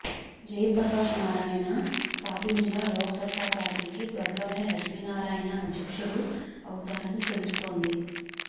జయప్రకాశ్ నారాయణ స్థాపించిన లోక్ సత్తా పార్టీకి త్వరలోనే లక్ష్మీనారాయణ అధ్యక్షుడు అవుతారని తెలుస్తోంది